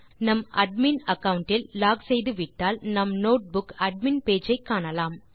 நாம் admin account இல் log செய்துவிட்டால் நாம் நோட்புக் அட்மின் பேஜ் ஐ காணலாம்